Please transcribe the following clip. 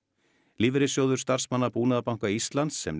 lífeyrissjóður starfsmanna Búnaðarbanka Íslands sem